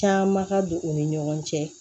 Caman ka don u ni ɲɔgɔn cɛ